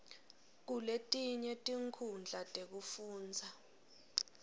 kuletinye tinkhundla tekufundza